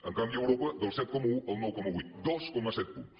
en canvi a europa del set coma un al nou coma vuit dos coma set punts